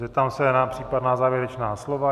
Zeptám se na případná závěrečná slova.